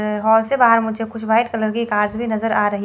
hall से बाहर मुझे कुछ व्हाइट कलर की कार्स भी नजर आ रही--